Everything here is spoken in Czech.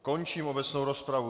Končím obecnou rozpravu.